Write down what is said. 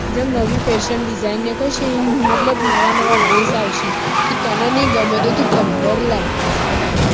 જેમ નવી fashion design નીકળ સે તો નવા નવા dress આવશે તો તને ની ગમે તો તું પંદર લાય